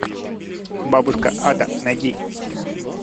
бабушка ада найди